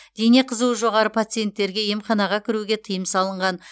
дене қызуы жоғары пациенттерге емханаға кіруге тыйым салынған